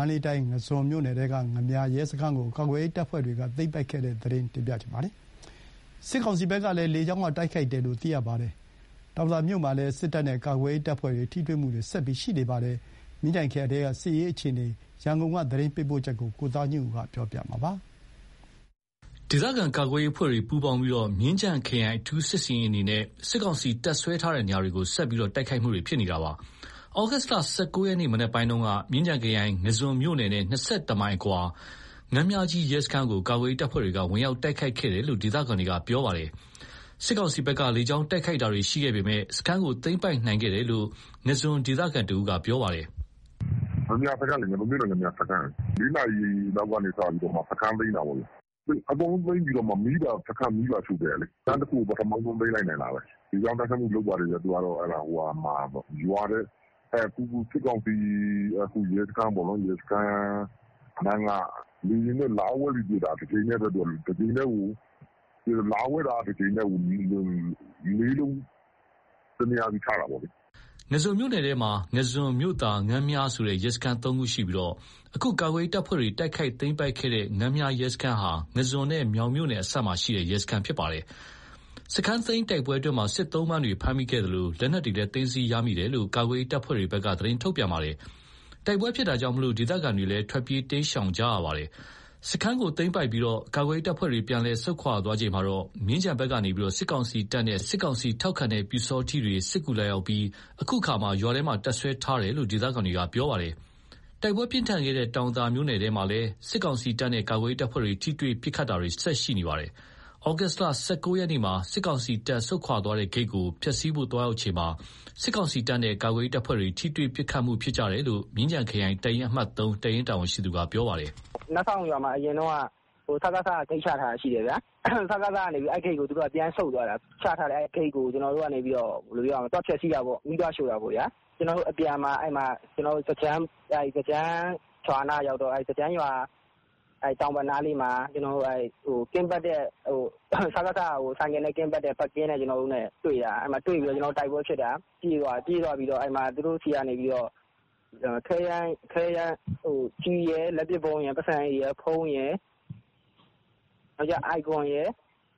န္တလေးတိုင်း ငါန်းဇွန် မြို့နယ်ထဲက ငါန်းမြာရဲစခန်းကို ကာကွယ်ရေးတပ်ဖွဲ့တွေက တိုက်ခိုက်သိမ်းပိုက်ခဲ့သလို စစ်ကောင်စီဘက်ကတော့ လေကြောင်းတိုက်ခိုက်မှုလုပ်ခဲ့တယ်လို့ သိရပါတယ်။ တောင်သာမြို့မှာလည်း စစ်တပ်နဲ့ကာကွယ်ရေးတပ်ဖွဲ့တွေ ထိတွေ့မှုတွေ ဆက်ရှိ နေပါတယ်။ မြင်းခြံခရိုင်ထဲက စစ်ရေးအခြေအနေ သတင်းပေးပို့ချက်ကိုရန်ကုန် က သတင်းပေးပို့ထားပါတယ်။ ဒေသကာကွယ်ရေးအဖွဲ့တွေ ပူးပေါင်းပြီး မြင်းခြံခရိုင် အထူးစစ်ဆင်ရေးအနေနဲ့ စစ်ကောင်စီ တပ်စွဲထားတဲ့နေရာတွေကိုဆက်လက် တိုက်ခိုက်နေတာပါ။ သြဂုတ် ၁၉ ရက် မနက်ပိုင်းက မြင်းခြံခရိုင် ငါန်းဇွန်မြို့နယ်နဲ့ ၂၁ မိုင်အကွာက ငါန်းမြာကြီးရဲစခန်းကို ကာကွယ်ရေး တပ်ဖွဲ့တွေက ဝင်ရောက်တိုက်ခိုက်ခဲ့တယ်လို့ ဒေသခံတွေက ပြောပါတယ်။ စစ်ကောင်စီဘက်က လေကြောင်းတိုက်ခိုက်တာတွေရှိခဲ့ပေမယ့် စခန်းကို သိမ်းပိုက်နိုင်ခဲ့တယ်လို့ ငါန်းဇွန်ဒေသခံတဦးက ပြောပါတယ်။ "ငါန်းမြာစခန်းလေ ငါန်းဇွန်မြို့နယ် ငါန်းမြာစခန်း (မနက်) ၄ နာရီလောက်ကနေစပြီး စခန်းသိမ်းတာပေါ့။ အကုန်လုံးသိမ်းပြီး စခန်းပါ မီးပါ ရှို့ခဲ့တာလေ။ စခန်းတခုကို ပထမဆုံး သိမ်းလိုက်နိုင်တာပဲ။ လေကြောင်းတိုက်ခိုက်မှုလုပ်တယ်။ရွာထဲ အခုစစ်ကောင်စီ ရဲစခန်းနားက လေယာဉ်နဲ့လာဝဲပြီးတော့ပစ်တာ။ လာဝဲတာကို တကြိမ်တည်းကို ၄ လုံး တနေရာစီချတာပေါ့လေ။" ငါန်းဇွန်မြို့နယ်ထဲမှာ ငါန်းဇွန် ၊ မြို့သာ ၊ ငါန်းမြာဆိုတဲ့ ရဲစခန်း ၃ ခုရှိပြီး အခုကာကွယ်ရေးတပ်ဖွဲ့တွေ တိုက်ခိုက်သိမ်းပိုက်ခဲ့တဲ့ ငါန်းမြာ ရဲစခန်း ဟာ ငါန်းဇွန်နဲ့ မြောင်မြို့နယ်အစပ်မှာရှိတဲ့ ရဲစခန်းလည်းဖြစ်ပါတယ်။ စခန်းသိမ်းတိုက်ပွဲအတွင်း စစ်သုံ့ပန်တွေလည်း ဖမ်းမိခဲ့သလို လက်နက် တွေလည်း သိမ်းဆည်းရမိခဲ့တယ်လို့ ကာကွယ်ရေး တပ်ဖွဲ့တွေကသတင်းထုတ်ပြန်ထားပါတယ်။ တိုက်ပွဲဖြစ်တာကြောင့် ဒေသခံတွေ ထွက်ပြေးတိမ်းရှောင်ကြနေကြပါတယ်။ စခန်းကို သိမ်းပိုက်ပြီး ကာကွယ်ရေးတပ်ဖွဲ့တွေ ပြန်လည်ဆုတ်ခွါသွားချိန်မှာတော့ မြင်းခြံဘက်ကနေ စစ်ကောင်စီတပ်နဲ့စစ်ကောင်စီ ထောက်ခံတဲ့ ပျူစောထီးတွေ စစ်ကူလာရောက်ခဲ့ပြီး အခုအခါ ရွာထဲမှာ တပ်စွဲထားတယ်လို့ ဒေသခံတွေကပြောပါတယ်။ တိုက်ပွဲတွေပြင်းထန်ခဲ့တဲ့ တောင်သာမြို့နယ်ထဲမှာလည်း စစ်တပ်နဲ့ ကာကွယ်ရေးတပ်ဖွဲ့တွေ ထိတွေ့ ပစ်ခတ်တာတွေဆက်ရှိနေပါတယ်။ သြဂုတ် ၁၉ ရက်မှာ စစ်ကောင်စီတပ် ဆုတ်ခွါသွားတဲ့ ဂိတ်ကို ဖျက်စီးဖို့သွားရောက်ချိန်မှာ စစ်ကောင်စီတပ်နဲ့ကာကွယ်ရေးတပ်ဖွဲ့တွေ ထိတွေ့ ပစ်ခတ်မှု ဖြစ်ကြတယ်လို့ မြင်းခြံခရိုင် တပ်ရင်း အမှတ် (၃ ) တပ်ရင်းတာဝန်ရှိသူက ပြောပါတယ်။ "နတ်စောင့်ရွာမှာ စကစ ဂိတ်ချထားတာရှိတယ်။ စကစ က အဲ့ဂိတ်ကို သူတို့က ပြန်ဆုတ်သွားတာ။ ချထားတဲ့ ဂိတ်ကိုကျနော်တို့က သွားဖျက်စီးတာပေါ့။ မီးသွားရှို့တာပေါ့။ အပြန်မှာ ထန်းကျင်းရွာနားရောက်တော့ ရွာတောင်ဘက်နားလေးမှာ စကစ က ဆိုင်ကယ်နဲ့ပတ်တဲ့ ပတ်ကင်းနဲ့တွေ့တာ။ တွေ့ပြီးတော့ တိုက်ပွဲဖြစ်တာ။ ပြေးသွားတော့ သူတို့ဆီက ကျည်ရယ် လက်ပစ်ဗုံးရယ်။ ပိုက်ဆံအိတ်ရယ် ဖုန်းရယ် အိုင်ကွန်ရယ်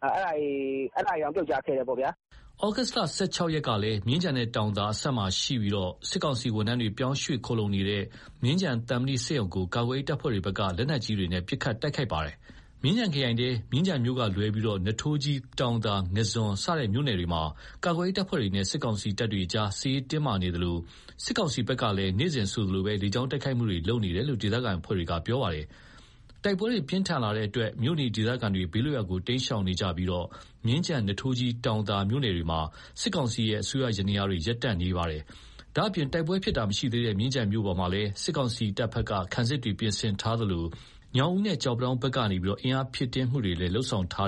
အဲ့ဒါတွေတောင် ပြုတ်ကျခဲ့တယ်ပေါ့။" သြဂုတ် ၁၆ ရက်ကလည်း မြင်းခြံနဲ့တောင်သာ အစပ်မှာရှိပြီး စစ်ကောင်စီဝန်ထမ်းတွေ ပြောင်းရွှေ့ခိုလှုံနေတဲ့ မြင်းခြံသံမဏိစက်ရုံကို ကာကွယ်ရေးတပ်ဖွဲ့တွေက လက်နက်ကြီးတွေနဲ့ ပစ်ခတ် တိုက်ခိုက်ခဲ့ပါသေးတယ်။ မြင်းခြံခရိုင်ထဲ မြင်းခြံမြို့ကလွဲပြီး နွားထိုးကြီး တောင်သာ ငါန်းဇွန်စတဲ့မြို့နယ်တွေမှာ ကာကွယ်ရေးတပ်ဖွဲ့တွေနဲ့ စစ်ကောင်စီတပ်တွေကြား စစ်ရေးတင်းမာနေသလို စစ်ကောင်စီဘက်ကလည်း နေ့စဉ်ဆိုသလို လေကြောင်းတိုက်ခိုက်မှုတွေလုပ်နေတယ်လို့ ဒေသခံအဖွဲ့တွေက ပြောပါတယ်။ တိုက်ပွဲတွေပြင်းထန်လာတဲ့အတွက် မြို့နေ ဒေသခံတွေ ဘေးလွတ်ရာ တိမ်းရှောင်နေကြပြီး မြင်းခြံ ၊ နွားထိုးကြီး ၊တောင်သာ မြို့နယ်တို့မှာ စစ်ကောင်စီရဲ့ အစိုးရယန္တရားတွေ ရပ်တန့်သွားခဲ့ပါတယ်။ ဒါ့အပြင် တိုက်ပွဲဖြစ်တာမရှိသေးတဲ့ မြင်းခြံမြို့မှာလည်း စစ်ကောင်စီတပ်ဘက်က ခံစစ်တွေ ပြင်ဆင်ထားသလို ညောင်ဦးနဲ့ ကျောက်ပန်းတောင်းဘက်ကနေပြီး အင်အားဖြည့်တင်းတာတွေ လုပ်ဆောင်ထား